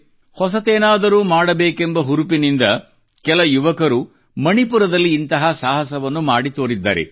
ಹೊಸತೇನಾದರೂ ಮಾಡಬೇಕೆಂಬ ಹುರುಪಿನಿಂದ ಕೆಲ ಯುವಕರು ಮಣಿಪುರದಲ್ಲಿ ಇಂಥ ಸಾಹಸವನ್ನು ಮಾಡಿ ತೋರಿದ್ದಾರೆ